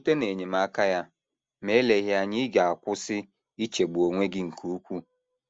Site n’enyemaka ya, ma eleghị anya ị ga - akwụsị ichegbu onwe gị nke ukwuu.